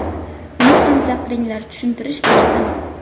Uni ham chaqiringlar tushuntirish bersin.